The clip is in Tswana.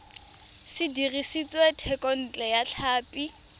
se dirisitswe thekontle ya tlhapi